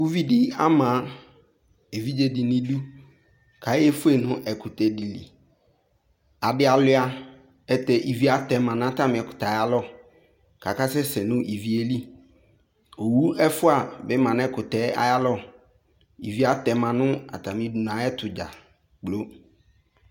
uvi di ama evidze di n'idu k'aye fue no ɛkutɛ di li adi aluia ɛlutɛ ivi atɛma n'atami ɛkutɛ yɛ alɔ k'aka sɛ sɛ no ivi yɛ li owu ɛfua bi ma n'ɛkutɛ yɛ ayi alɔ ivi yɛ atɛma no atami udunu ayi ɛto dza kplo